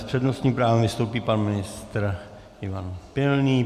S přednostním právem vystoupí pan ministr Ivan Pilný.